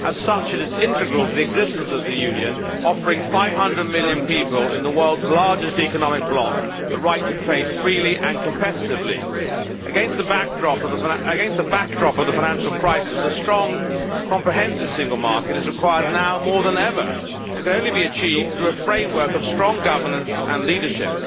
As such it is integral to the existence of the Union, offering 500 million people in the world's largest economic bloc the right to trade freely and competitively. Against the backdrop of the financial crisis a strong comprehensive Single Market is required now more than ever and can only be achieved through a framework of strong governance and leadership.